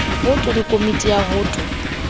woto le komiti ya woto